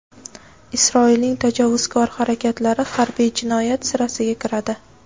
Isroilning tajovuzkor harakatlari harbiy jinoyat siraiga kiradi.